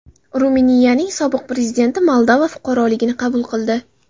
Ruminiyaning sobiq prezidenti Moldova fuqaroligini qabul qildi.